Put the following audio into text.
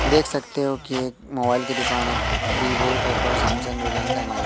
देख सकते हो कि एक मोबाइल की दुकान है Vivo Oppo Samsung Reliance Mi.